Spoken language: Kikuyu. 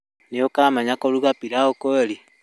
Nĩ ũkamenya kũruga pilaũ kweli?